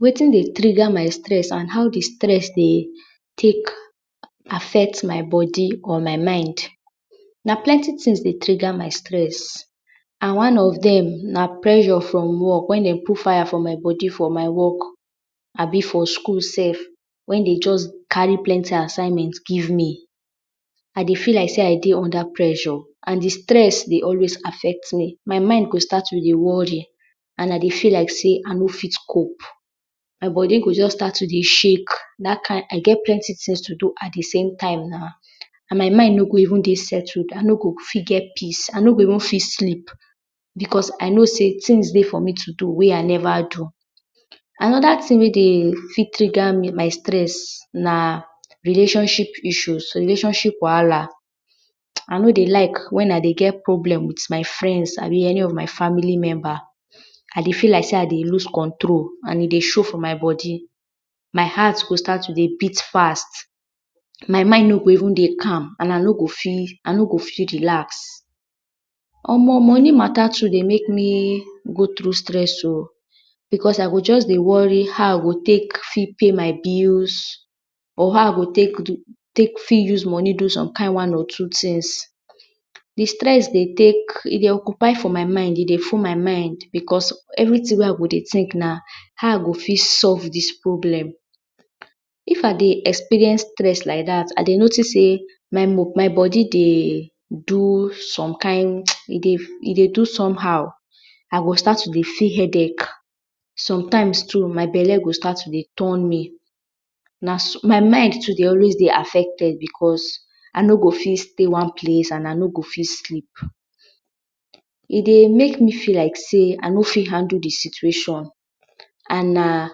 Wetin dey triga my stress and how di stress dey take affect my bodi or my mind? Na plenty tin dey triga my stress and one of dem na pressure for work, wen dem put fire for my bodi for my work, for skul sef wen den just kari plenty assignment give me, I dey feel like sey I dey unda pressure. Di stress go dey sta affect me, my mind go dey always dey wori. And I dey feel like sey I no fit cop, my bodi go stat to dey shake, I get plenty tins wey I dey do at di same time, I no go fit get peace, I no go even fit sleep. Becos I no sey tins dey for me to do wey I neva do. Anoda tin wey dey triga me, my stress, na relashonship issue, relashonship wahala, I no dey like wen I dey get problem with my frend, my family memba, I dey feel like sey I dey loose control, e dey show for my bodi, my heart go dey beat fast. My mind no go even dey calm and I no go feel relax. Omo! Moni mata sef dey make me go through stress o, bicos I go just dey wori how I go take fit pay my bills, or how I go take moni fit do som kind one or two tins. Di stress dey take, I dey occupy my mind dey full my mind. Bicos everi tin wey I dey tink na how I go fit take solve dis problem. If I dey experience stress like dat, I dey notis sey my bodi dey do som kind…e dey do som how. I go stat to dey feel headache, somtime too my bele go stat to dey turn me, my mind too dey always be affected bicos I no go fit stay one place, I no go fit sleep. E dey make me feel like sey I no go fit handle di situation and na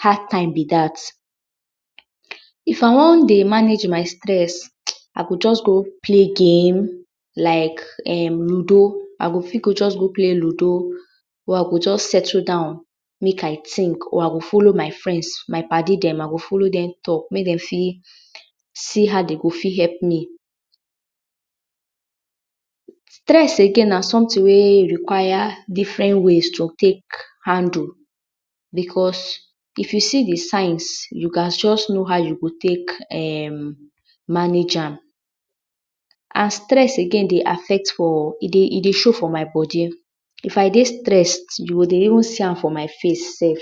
hard time be dat. If I wan dey manage my stress, I go just go play game like ludo, I go fit go just play ludo or I go just settle down make I think. Folo my frends, my pad idem, I go folo dem talk. Mey dem fit see how dem go fit help me. Stress again na somtin wey require diferent ways to take handle, bicos if you see di signs, you ghas just know how you go take manage am and stress again dey affect for…. E dey show for my bodi, if I dey stess, you go even see am for my face sef.